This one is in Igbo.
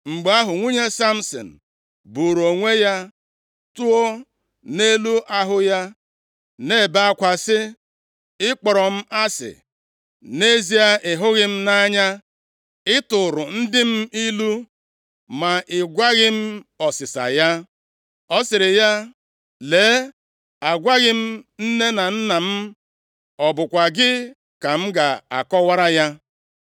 Mgbe ahụ nwunye Samsin buuru onwe ya tụọ nʼelu ahụ ya, nʼebe akwa, sị, “Ị kpọrọ m asị! Nʼezie, ị hụghị m nʼanya. Ị tụụrụ ndị m ilu, ma ị gwaghị m ọsịsa ya.” Ọ sịrị ya, “Lee, agwaghị m nne na nna m, ọ bụkwa gị ka m ga akọwara ya?”